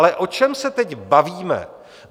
Ale o čem se teď bavíme?